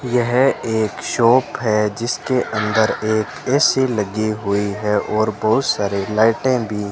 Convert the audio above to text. यह एक है जिसके अंदर एक ए_सी लगी हुई है और बहुत सारे लाइटें भी --